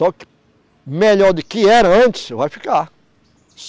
Só que melhor do que era antes vai ficar.